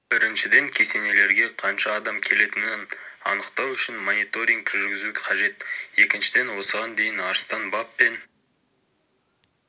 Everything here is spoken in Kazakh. біріншіден кесенелерге қанша адам келетінін анықтау үшін мониторинг жүргізу қажет екіншіден осыған дейін арыстан баб пен